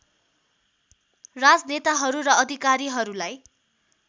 राजनेताहरू र अधिकारीहरूलाई